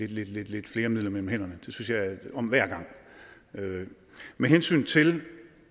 lidt flere midler mellem hænderne det synes jeg om hver gang med hensyn til